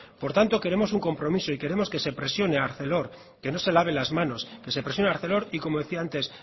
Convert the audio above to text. por tanto queremos un compromiso y queremos que se presione a arcelor que no se lave las manos que se presiones a arcelor y como decía antes